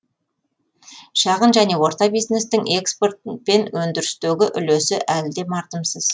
шағын және орта бизнестің экспорт пен өндірістегі үлесі әлі де мардымсыз